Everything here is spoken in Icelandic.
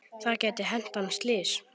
Það gæti hent hann slys.